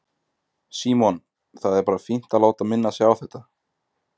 Símon: Það er bara fínt að láta minna sig á þetta?